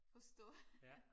Forstå